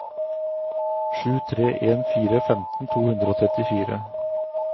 sju tre en fire femten to hundre og trettifire